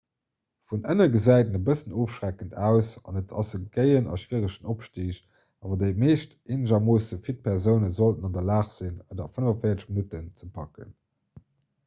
vun ënne gesäit en e bëssen ofschreckend aus an et ass e géien a schwieregen opstig awer déi meescht eenegermoosse fit persoune sollten an der lag sinn et a 45 minutten ze packen